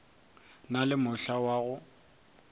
na le mohla wa go